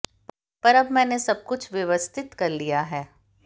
पर अब मैंने सब कुछ व्यवस्थित कर लिया है